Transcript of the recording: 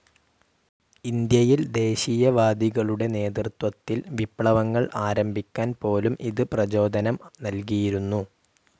ഇന്ത്യയിൽ ദേശീയവാദികളുടെ നേതൃത്വത്തിൽ വിപ്ലവങ്ങൾ ആരംഭിക്കാൻ പോലും ഇത് പ്രചോദനം നൽകിയിരുന്നു.